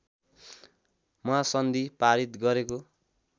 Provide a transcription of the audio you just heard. महासन्धि पारित गरेको